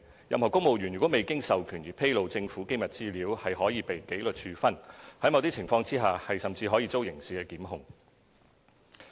任何公務員如未經授權而披露政府機密資料，可被紀律處分，在某些情況下甚至可遭刑事檢控。